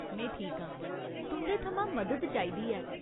में ठीक आं। तुं'दे थमां मदद चाहिदी ऐ।